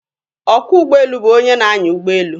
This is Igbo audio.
Ọkwọ ụgbọelu bụ onye na-anya ụgbọelu.